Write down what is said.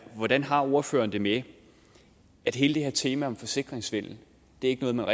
hvordan har ordføreren det med at hele det her tema om forsikringssvindel ikke er noget